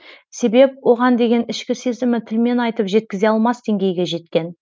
себеп оған деген ішкі сезімі тілмен айтып жеткізе алмас деңгейге жеткен